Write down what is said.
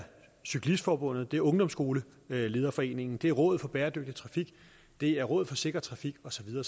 cyklistforbundet det er ungdomsskolelederforeningen det er rådet for bæredygtig trafik det er rådet for sikker trafik og så videre